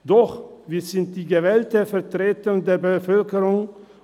Doch wir sind die gewählte Vertretung der Bevölkerung.